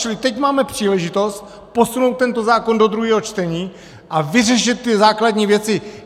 Čili teď máme příležitost posunout tento zákon do druhého čtení a vyřešit ty základní věci.